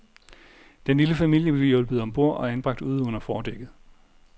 Den lille familie blev hjulpet om bord og anbragt ude under fordækket.